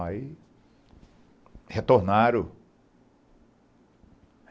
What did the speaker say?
Aí... retornaram.